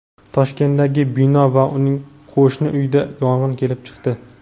Toshkentdagi bino va unga qo‘shni uyda yong‘in kelib chiqdi.